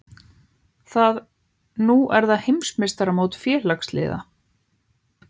Nú er það heimsmeistaramót félagsliða